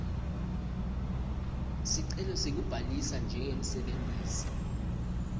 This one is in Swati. sicelo sekubhalisa njengemsebentisi